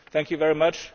Thank you very much.